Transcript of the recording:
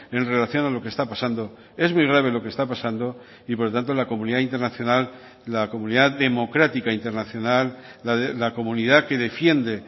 en relación a lo que está pasando es muy grave lo que está pasando y por lo tanto la comunidad internacional la comunidad democrática internacional la comunidad que defiende